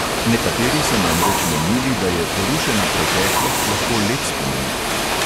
Nekateri so namreč menili, da je porušena preteklost lahko lep spomenik.